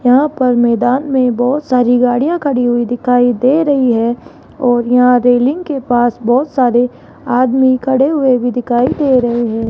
यहां पर मैदान में बहोत सारी गाड़ियां खड़ी हुई दिखाई दे रही है और यहां रेलिंग के पास बहोत सारे आदमी खड़े हुए भी दिखाई दे रहे हैं।